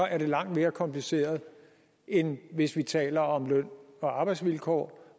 er det langt mere kompliceret end hvis vi taler om løn og arbejdsvilkår